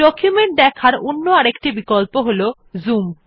document দেখার অন্য একটি বিকল্প হল জুম